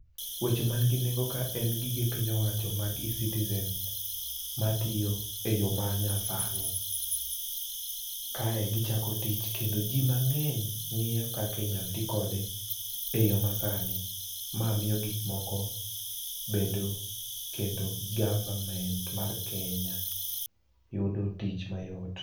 Wecho man gi nengo ka en gige piny owacho mag e-citizen, matiyo e yo ma nyasani. Kae gichako tich kendo ji mang'eny ng'iyo kaka inyal ti kode e yo masani. Ma miyo gik moko bedo kendo government mar Kenya yudo tich mayot.